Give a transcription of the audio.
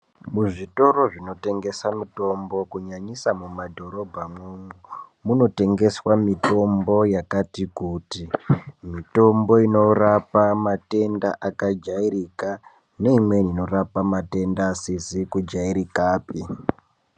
Muzvitoro zvinotengesa mitombo kunyanyisa mumadhorobhamwo. Munotengeswa mitombo yakati kuti, mitombo inorapa matenda akajairika, neimweni inorapa asizi kujairikapi.